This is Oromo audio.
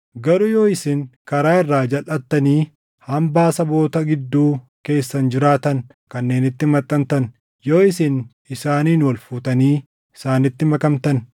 “Garuu yoo isin karaa irraa jalʼattanii hambaa saboota gidduu keessan jiraatan kanneeniitti maxxantan, yoo isin isaaniin walfuutanii isaanitti makamtan,